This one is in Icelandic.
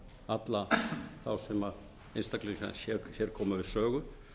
alla þá einstaklinga sem hér koma við sögu